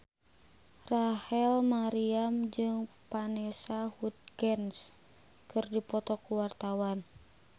Rachel Maryam jeung Vanessa Hudgens keur dipoto ku wartawan